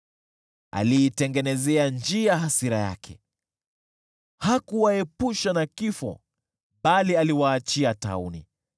Aliitengenezea njia hasira yake, hakuwaepusha na kifo, bali aliwaachia tauni.